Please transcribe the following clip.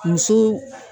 Muso